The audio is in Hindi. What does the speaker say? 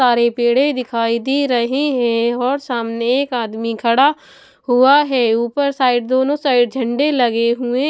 सारे पेड़े दिखाई दे रहे हैं और सामने एक आदमी खड़ा हुआ है ऊपर साइड दोनों साइड झंडे लगे हुए --